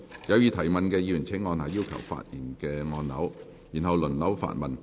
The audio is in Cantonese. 有意提問的議員請按下"要求發言"按鈕，然後輪候發問。